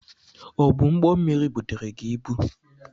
Ọ bụ ụgbọmmiri butere gi ibu?